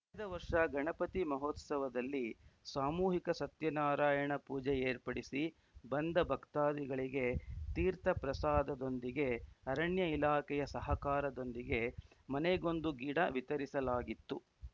ಕಳೆದ ವರ್ಷ ಗಣಪತಿ ಮಹೋತ್ಸವದಲ್ಲಿ ಸಾಮೂಹಿಕ ಸತ್ಯನಾರಾಯಣಪೂಜೆ ಏರ್ಪಡಿಸಿ ಬಂದ ಭಕ್ತಾದಿಗಳಿಗೆ ತೀರ್ಥ ಪ್ರಸಾದದೊಂದಿಗೆ ಅರಣ್ಯ ಇಲಾಖೆಯ ಸಹಕಾರದೊಂದಿಗೆ ಮನೆಗೊಂದು ಗಿಡ ವಿತರಿಸಲಾಗಿತ್ತು